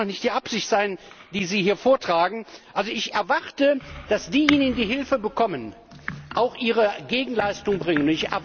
Das kann doch nicht die Absicht sein, die Sie hier vortragen! Also ich erwarte, dass diejenigen, die Hilfe bekommen, auch ihre Gegenleistung erbringen.